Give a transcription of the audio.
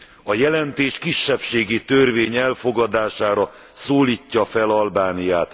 A jelentés kisebbségi törvény elfogadására szólítja fel Albániát.